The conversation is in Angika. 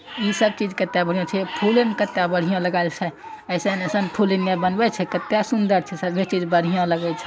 इ सब चीज कते बढ़िया छै फूल इ कते बढ़िया लगाएल छै एसन एसन फूल इने बनवे छै कते सुंदर छै सभी चीज बढ़िया लगय छै।